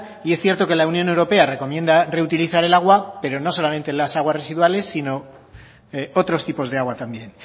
y es cierto que la unión europea recomienda reutilizar el agua pero no solamente las aguas residuales sino otros tipos de agua también